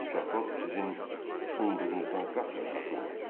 Mükafat sizin umduğunuzdan qat-qat artıq olacaq.